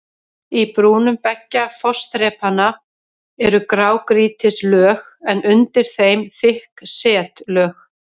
Í brúnum beggja fossþrepanna eru grágrýtislög en undir þeim þykk setlög.